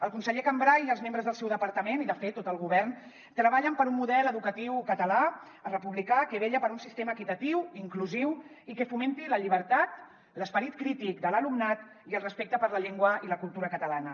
el conseller cambray i els membres del seu departament i de fet tot el go·vern treballen per un model educatiu català republicà que vetlla per un sistema equitatiu inclusiu i que fomenti la llibertat l’esperit crític de l’alumnat i el respecte per la llengua i la cultura catalana